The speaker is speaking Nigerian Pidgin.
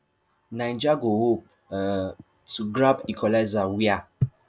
niger go hope um to grab equalizer wia